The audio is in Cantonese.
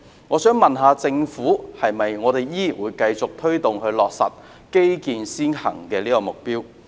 我想問問政府，會否繼續推動落實基建先行這個目標？